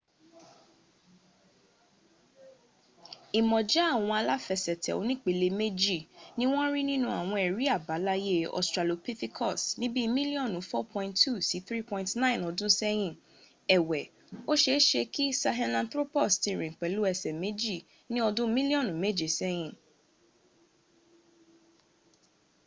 ìmọ̀já àwọn aláfẹsẹ̀tẹ̀ onípele méjì ni wọ́n rí nínú àwọn ẹ̀rí àbáláyé australopithecus ní bíi mílíọ̀nù 4.2 sí 3.9 ọdún sẹ́hìn ẹ̀wẹ̀ ó ṣeéṣe kí sahelanthropus ti rìn pẹ̀lú ẹsẹ̀ méjì ní ọdún mílíọ̀nù méje sẹ́hìn